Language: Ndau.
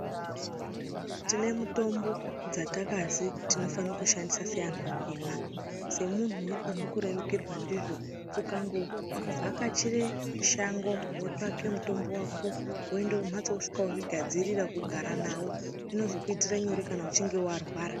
Tine mitombo dzatakazi tinofane kuseenzesa seantu atema, semuntu unofane kurerukirwa ndizvo, ukangovhakachire shango wotsvake mutombo wako woende kumhatso, wosvike wozvigadzirire kugara nawo, zvinozokuitire nyore kana uchinge warwara.